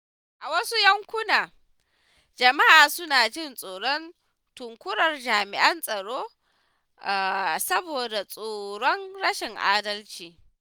A wasu yankunan, jama’a suna jin tsoron tunkarar jami’an tsaro saboda tsoron rashin adalci.